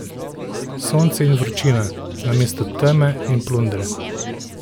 Sonce in vročina, namesto teme in plundre.